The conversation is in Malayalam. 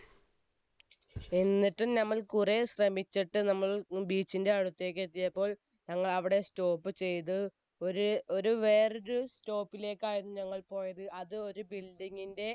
എന്നിട്ട് നമ്മൾ കുറെ ശ്രമിച്ചിട്ട് നമ്മൾ beach ന്റെ അടുത്തേക്ക് എത്തിയപ്പോൾ നമ്മൾ അവിടെ stop ചെയ്ത്, ഒരു വേറെ ഒരു stop ലേക്കായിരുന്നു നമ്മൾ പോയിരുന്നത്, അത് ഒരു building ന്റെ